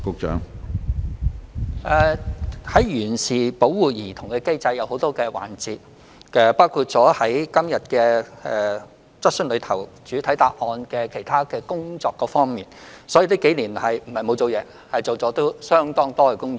有關完善保護兒童的機制分為多個環節，包括今天在主體答覆中提到的其他工作，所以這幾年並非沒有做工夫，而是已經做了相當多工作。